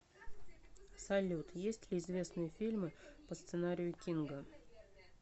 салют есть ли известные фильмы по сценарию кинга